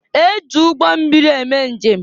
E ji ụgbọmmịri eme njem.